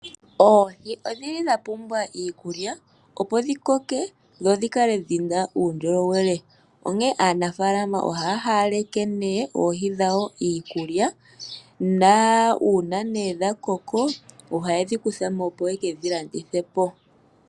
Oohi odhili dha pumbwa iikulya opo dhi koke dho dhi kale dhina uundjolowele, onkene aanafaalama ohaya hawaleke nee oohi dhawo iikulya, nuuna dha koko oha yedhi kuthamo, opo ye kedhi landithepo.